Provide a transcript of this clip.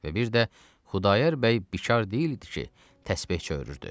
Və bir də Xudayar bəy bikar deyildi ki, təsbeh çövürdü.